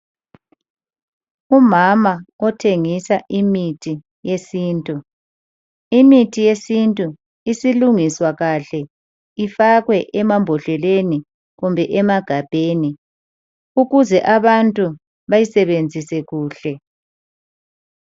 Umama othengisa imithi yesintu. Imithi yesintu isilungiswa kahle ifakwe emambodleleni kumbe emagabheni. Ukuze abantu bayisebenzise kuhle.